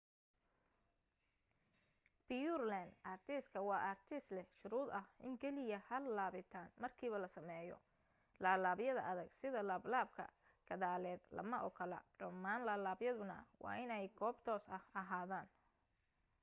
pureland artiska waa ariska leh shuruud ah in keliya hal laabitaan markiiba la sameeyo laablaabyada adag sida laablaabka gadaaleed lama ogola dhammaan laablaabyaduna waa inay goob toos ah ahaadaan